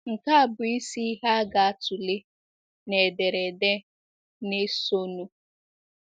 Nke a bụ isi ihe a ga-atụle n’ederede na - esonụ.